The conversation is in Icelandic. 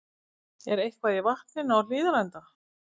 Er eitthvað í vatninu á Hlíðarenda?